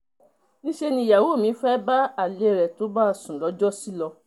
níṣẹ́ nìyàwó mi fẹ́ẹ́ bá alẹ́ rẹ̀ tó bá a sùn lọ́jọ́sí lọ